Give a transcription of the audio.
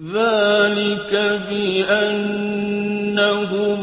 ذَٰلِكَ بِأَنَّهُمْ